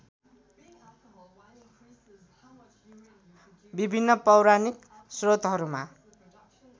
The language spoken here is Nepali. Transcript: विभिन्न पौराणिक श्रोतहरूमा